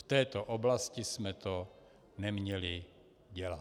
V této oblasti jsme to neměli dělat.